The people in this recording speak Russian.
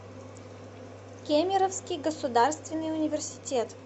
кемеровский государственный университет